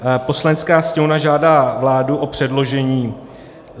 "Poslanecká sněmovna žádá vládu o předložení